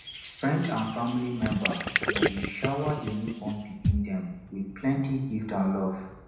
friend and family member dem dey shower di newborn pikin dem with plenty gift and love